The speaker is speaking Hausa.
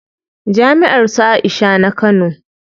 Jami'ar su Aisha na Kano.